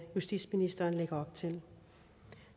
justitsministeren lægger op til